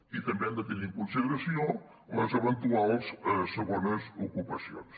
i també hem de tenir en consideració les eventuals segones ocupacions